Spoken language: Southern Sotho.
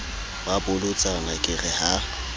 ba bolotsana ke re ha